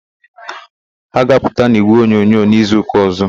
Ha ga-apụta n'ígwèonyonyo n'izuụka ọ̀zọ́.